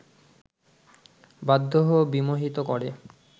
বাধ্য ও বিমোহিত করে